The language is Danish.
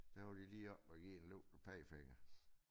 Der var de lige oppe og give en løftet pegefinger